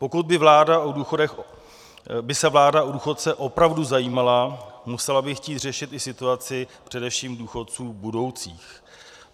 Pokud by se vláda o důchodce opravdu zajímala, musela by chtít řešit i situaci především důchodců budoucích.